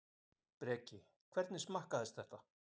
Breki: Hvernig smakkaðist þetta?